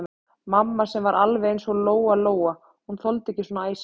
Mamma sem var alveg eins og Lóa-Lóa, hún þoldi ekki svona æsing.